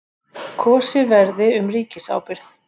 Kosið verði um ríkisábyrgð